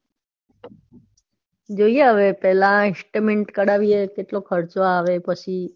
જોઈએ હવે પેલા એસ્ટીમેન્ટ કાઢાવીએ કેટલો ખર્ચો આવે પછી.